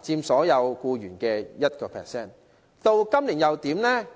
佔所有僱員人數的 1%。